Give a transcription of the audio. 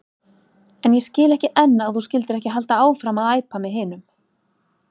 En ég skil ekki enn að þú skyldir ekki halda áfram að æpa með hinum.